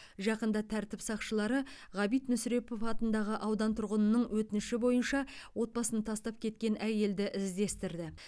жақында тәртіп сақшылары ғабит мүсірепов атындағы аудан тұрғынының өтініші бойынша отбасын тастап кеткен әйелді іздестірді